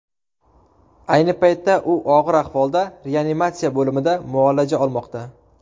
Ayni paytda u og‘ir ahvolda reanimatsiya bo‘limida muolaja olmoqda.